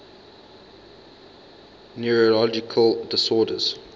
neurological disorders